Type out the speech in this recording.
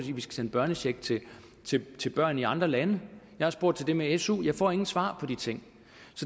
vi skal sende børnecheck til til børn i andre lande jeg har spurgt til det med su men jeg får ingen svar på de ting